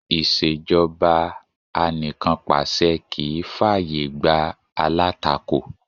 Ìṣẹ̀jọba anìkànpàṣẹ kì í fà yè gbá alátakò.